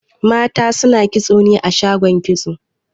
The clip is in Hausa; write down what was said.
Mata suna kitso ne a shagon kitso